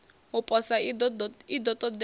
u posa i ḓo ṱoḓea